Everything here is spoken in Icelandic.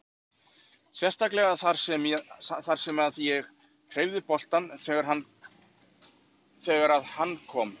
Sérstaklega þar sem að ég hreyfði boltann þegar að hann kom.